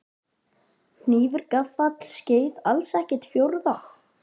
Hnífur gaffall skeið alls ekkert fjórða?